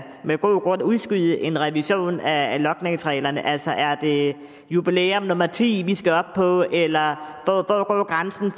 med god grund kan udskyde en revision af logningsreglerne altså er det jubilæum nummer ti vi skal op på eller hvor går grænsen